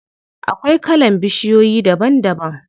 Akwai kalan bishiyoyi daban daban.